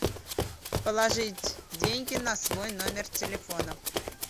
положить деньги на свой номер телефона